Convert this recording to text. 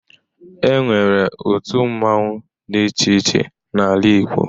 Enwere otu mmanwu dị iche iche n'ala Igbo